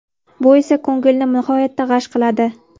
Bu esa ko‘ngilni nihoyatda g‘ash qiladi.